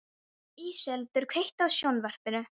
Íseldur, kveiktu á sjónvarpinu.